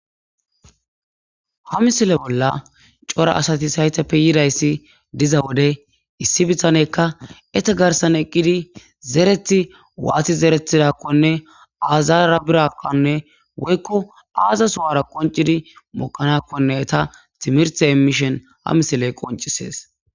Ha misile bolla cora asati hayteppe yidayssi diza wode issi bitanekka ete garsan eqqidi zereti waati zeretidakkone aazara birakonne woykko aaza suwara qoncidi moqanakkone ta timirte emishen ha misiley qoncisees.